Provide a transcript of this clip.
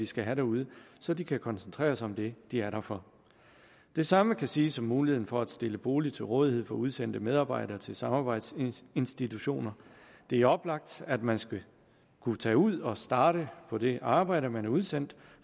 skal have derude så de kan koncentrere sig om det de er der for det samme kan siges om muligheden for at stille bolig til rådighed for udsendte medarbejdere til samarbejdsinstitutioner det er oplagt at man skal kunne tage ud og starte på det arbejde man er udsendt